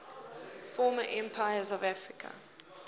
former empires of africa